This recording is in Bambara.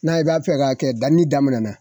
N'a i b'a fɛ k'a kɛ dani daminɛ na.